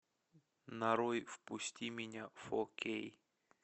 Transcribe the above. нарой впусти меня фо кей